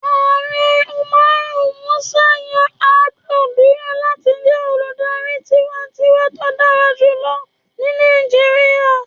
Ààrẹ Umaru Musa Yar'Adua duro lati jẹ oludari tiwantiwa to dara julọ ni Nàìjíríà.